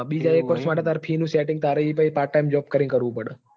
બીજા એક વર્ષ માટે તારે fee નું setting તારે ત્યાં part time job કરી ને કરવું પડે.